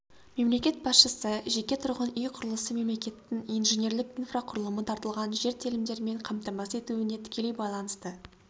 мемлекет басшысы жеке тұрғын үй құрылысы мемлекеттің инженерлік инфрақұрылымы тартылған жер телімдерімен қамтамасыз етуіне тікелей байланысты